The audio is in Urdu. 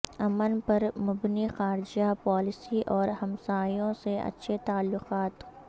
امن پر مبنی خارجہ پالیسی اور ہمسایوں سے اچھے تعلقات